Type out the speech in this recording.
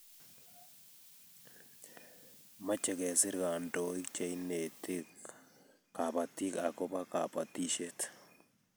Mache kesir kandoik che ineti kabatik akobo kabatishet